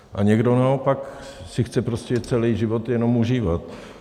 A někdo naopak si chce prostě celý život jenom užívat.